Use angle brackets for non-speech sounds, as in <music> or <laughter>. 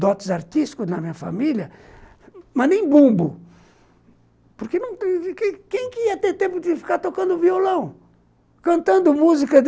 Dotes artísticos na minha família, mas nem bumbo, porque <unintelligible> quem ia ter tempo de ficar tocando violão, cantando música?